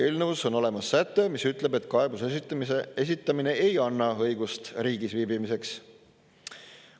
Eelnõus on olemas säte, mis ütleb, et kaebuse esitamine ei anna õigust riigis viibimiseks.